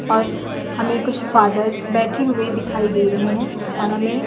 और हमें कुछ फादर्स बैठे हुए दिखाई दे रहे हैं और हमें--